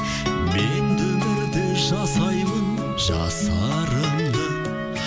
мен де өмірді жасаймын жасарымды